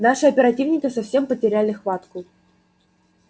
наши оперативники совсем потеряли хватку